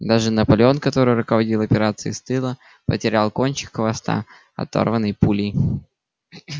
даже наполеон который руководил операцией с тыла потерял кончик хвоста оторванный пулей